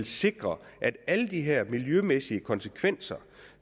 sikre at alle de her miljømæssige konsekvenser